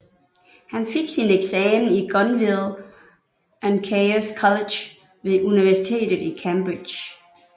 Han fik sin eksamen i Gonville and Caius College ved Universitetet i Cambridge